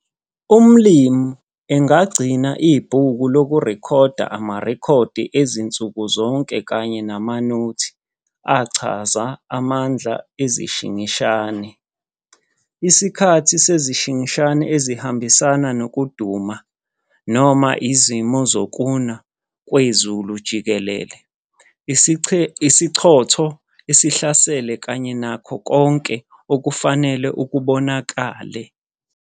Umlimi agagcina ibhuku lokurekhoda amarekhodi ezinsuku zonke kanye namanothi achaza amandla ezeshingishane, isikhathi sezishingishane ezihambisana nokuduma noma izimo zokuna kwezulu jikelele, isichotho esihlasele kanye nakho konke okufanele okubonakele.